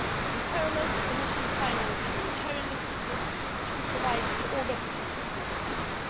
In parallel, the Commission financed humanitarian assistance to be provided to all refugees leaving the country.